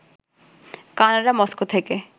Canada Moscow থেকে